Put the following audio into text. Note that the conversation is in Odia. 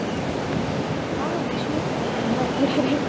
ହଁ ଅଛି କେନ୍ଦ୍ରାପଡାରେ